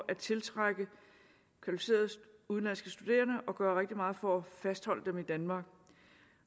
at tiltrække kvalificerede udenlandske studerende og gøre rigtig meget for at fastholde dem i danmark